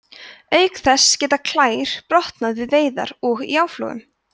auk þess geta klær brotnað við veiðar og í áflogum